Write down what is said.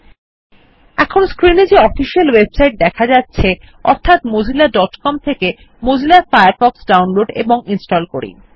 000332 000310 এখন স্ক্রিন এ যে অফিশিয়াল ওয়েবসাইট দেখা যাচ্ছে অর্থাৎ mozillaকম থেকে মজিলা ফায়ারফক্ষ ডাউনলোড এবং ইনস্টল করি